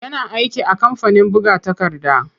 Yana aiki a kamfanin buga takarda.